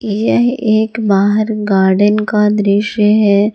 यह एक बाहर गार्डेन का दृश्य है।